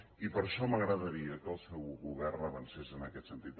i per això m’agradaria que el seu govern avancés en aquest sentit